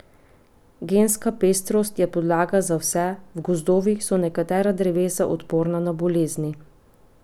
Genska pestrost je podlaga za vse, v gozdovih so nekatera drevesa odporna na bolezni.